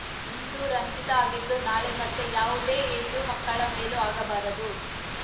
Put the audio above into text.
ಇಂದು ರಂಜಿತಾ ಆಗಿದ್ದು ನಾಳೆ ಮತ್ತೆ ಯಾವುದೇ ಹೆಣ್ಣು ಮಕ್ಕಳ ಮೇಲೂ ಆಗಬಾರದು